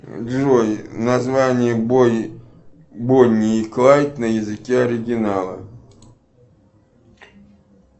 джой название бонни и клайд на языке оригинала